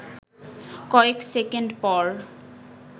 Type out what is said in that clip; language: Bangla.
কয়েক সেকেন্ড পর